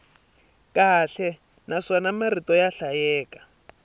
kahle naswona marito ya hlayeka